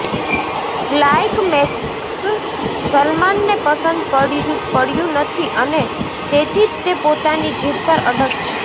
climax સલમાનને પસંદ પડયું નથી અને તેથી જ તે પોતાની જીદ પર અડગ છે